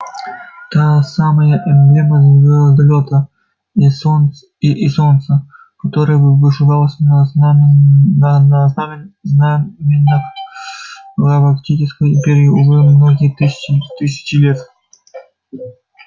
та самая эмблема звездолёта и солнца которая вышивалась на знамёнах галактической империи уже многие тысячи лет